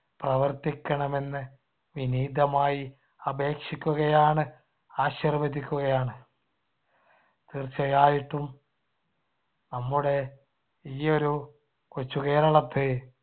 പ്രവർത്തിക്കണമെന്ന് വിനീതമായി അപേക്ഷിക്കുകയാണ് ആശിർവദിക്കുകയാണ്. തീർച്ചയായിട്ടും നമ്മുടെ ഈ ഒരു കൊച്ചു കേരളത്തെ